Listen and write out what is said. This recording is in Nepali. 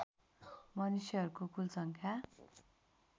मनुष्यहरूको कुल सङ्ख्या